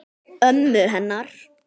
Ömmu hennar.